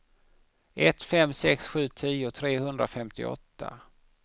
ett fem sex sju tio trehundrafemtioåtta